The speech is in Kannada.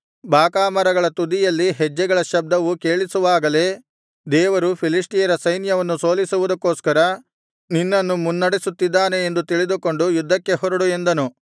ಬಾಕಾಮರಗಳ ತುದಿಯಲ್ಲಿ ಹೆಜ್ಜೆಗಳ ಶಬ್ದವು ಕೇಳಿಸುವಾಗಲೇ ದೇವರು ಫಿಲಿಷ್ಟಿಯರ ಸೈನ್ಯವನ್ನು ಸೋಲಿಸುವುದಕ್ಕೋಸ್ಕರ ನಿನ್ನನ್ನು ಮುನ್ನಡೆಸುತ್ತಿದ್ದಾನೆ ಎಂದು ತಿಳಿದುಕೊಂಡು ಯುದ್ಧಕ್ಕೆ ಹೊರಡು ಎಂದನು